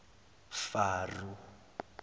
faro